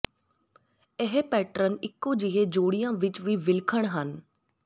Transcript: ਇਹ ਪੈਟਰਨ ਇਕੋ ਜਿਹੇ ਜੋੜਿਆਂ ਵਿਚ ਵੀ ਵਿਲੱਖਣ ਹਨ